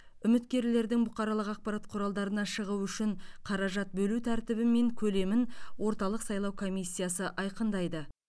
үміткерлердің бұқаралық ақпарат құралдарына шығуы үшін қаражат бөлу тәртібі мен көлемін орталық сайлау комиссиясы айқындайды